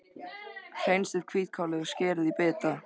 Hreinsið hvítkálið og skerið í bita.